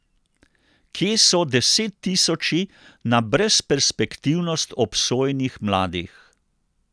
Kje so desettisoči na brezperspektivnost obsojenih mladih?